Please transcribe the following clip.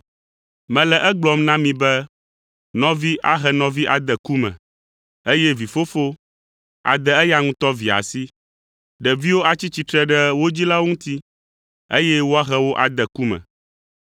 “Mele egblɔm na mi be nɔvi ahe nɔvi ade ku me, eye vi fofo ade eya ŋutɔ via asi. Ɖeviwo atsi tsitre ɖe wo dzilawo ŋuti, eye woahe wo ade ku me.